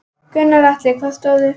Gunnar Atli: Hvað stóð upp úr?